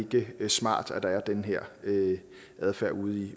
det ikke smart at der er den her adfærd ude